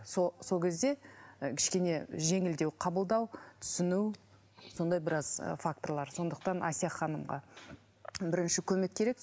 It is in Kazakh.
сол кезде ы кішкене жеңілдеу қабылдау түсіну сондай біраз ы факторлар сондықтан әсия ханымға бірінші көмек керек